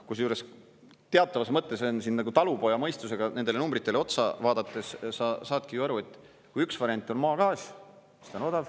Kusjuures, teatavas mõttes on siin nagu … talupoja mõistusega nendele numbritele otsa vaadates sa saadki ju aru, et kui üks variant on maagaas, sest ta on odav.